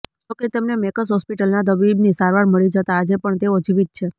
જોકે તેમને મેકસ હોસ્પિટલના તબીબની સારવાર મળી જતા આજે પણ તેઓ જીવીત છે